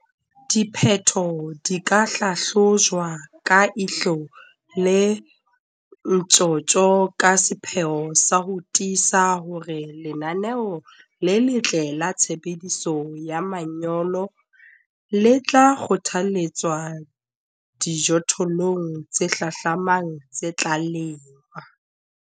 Diphetho di ka hlahlojwa ka ihlo le ntjhotjho ka sepheo sa ho tiisa hore lenaneo le letle la tshebediso ya manyolo le tla kgothaletswa dijothollong tse hlahlamang tse tla lengwa.